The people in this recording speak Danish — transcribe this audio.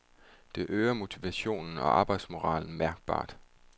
Det øger motivationen og arbejdsmoralen mærkbart.